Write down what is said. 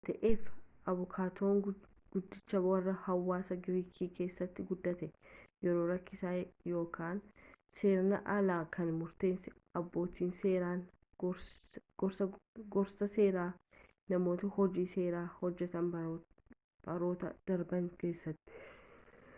waan kana ta'eef abukaatoon guddichi warra hawaasa giriik keessattin guddate yeroo rakkisaa yakka seeraan alaa kan murteessan abbootii seeraan gorsaa seeraa namoota hojii seeraa hojjetan baroota darban keessatti